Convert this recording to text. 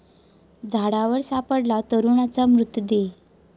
झाडावर सापडला तरुणाचा मृतदेह